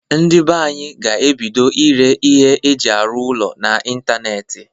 Ndị be anyị ga-ebido ire ihe eji arụ ụlọ na ntanetị.